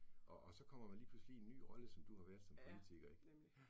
Og og så kommer man lige pludselig i en ny rolle, som du har været som politiker, ik, ja